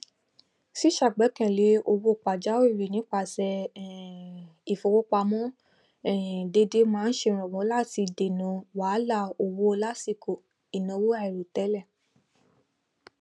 ṣíṣàgbékalẹ owó pàjáwìrì nípasẹ um ìfowópamọ um déédé máa n ṣèrànwọ láti dènà wàhálà owó lásìkò ìnáwó àìròtẹlẹ